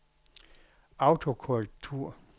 autokorrektur